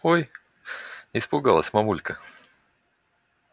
ой испугалась мамулька